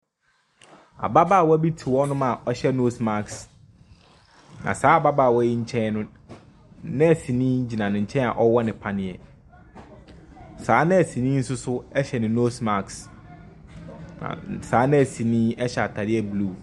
Ababaawa bi te hɔnom a ɔhyɛ nose mask, na saa ababaawa yi nkyɛn no, nɛɛseni gyina ne nkyɛn a ɔrewɔ no paneɛ. Saa nɛɛseni no nso hyɛ ne nose mask, saa nɛɛse yi hyɛ ataadeɛ blue.